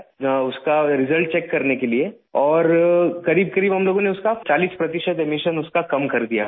اس کا نتیجہ چیک کرنے کے لیے اور قریب قریب ہم لوگوں نے اس کا چالیس فیصد اخراج کم کر دیا